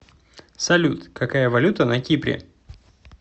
салют какая валюта на кипре